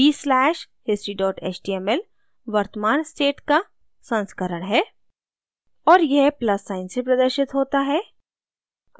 b slash history html वर्तमान state का संस्करण है और यह plus साइन से प्रदर्शित होता है